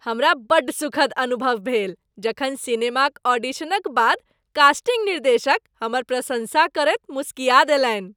हमरा बड्ड सुखद अनुभव भेल जखन सिनेमाक ऑडिशनक बाद कास्टिंग निर्देशक हमर प्रशंसा करैत मुस्किया देलनि।